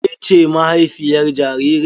Ke ce mahaifiyar jaririn?